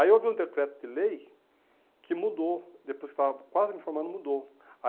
Aí houve um decreto de lei que mudou, depois que eu estava quase me formando, mudou.